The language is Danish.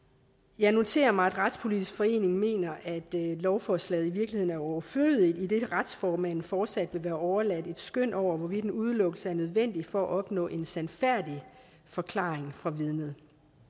jeg noterer mig at retspolitisk forening mener at lovforslaget i virkeligheden er overflødigt idet retsformanden fortsat vil være overladt et skøn over hvorvidt en udelukkelse er nødvendig for at opnå en sandfærdig forklaring fra vidnet